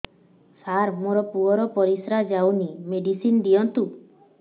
ସାର ମୋର ପୁଅର ପରିସ୍ରା ଯାଉନି ମେଡିସିନ ଦିଅନ୍ତୁ